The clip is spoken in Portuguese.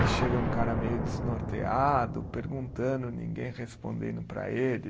E chega um cara meio desnorteado, perguntando, ninguém respondendo para ele.